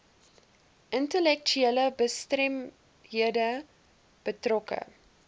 intellektuele gestremdhede betrokke